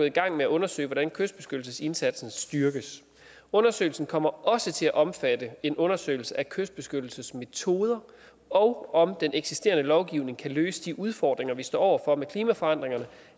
i gang med at undersøge hvordan kystbeskyttelsesindsatsen styrkes undersøgelsen kommer også til at omfatte en undersøgelse af kystbeskyttelsesmetoder og om den eksisterende lovgivning kan løse de udfordringer vi står over for med klimaforandringerne